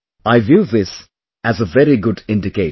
I view this as a very good indicator